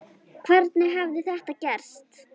Hvernig hafði þetta gerst?